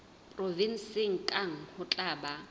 provenseng kang ho tla ba